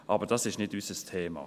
Aber das ist nicht unser Thema.